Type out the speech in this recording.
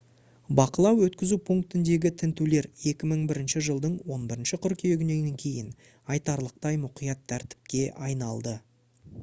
бақылау-өткізу пунктіндегі тінтулер 2001 жылдың 11 қыркүйегінен кейін айтарлықтай мұқият тәртіпке айналды